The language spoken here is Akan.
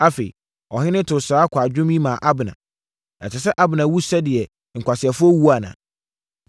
Afei, ɔhene too saa kwadwom yi maa Abner: “Ɛsɛ sɛ Abner wu sɛdeɛ nkwaseafoɔ wuo anaa?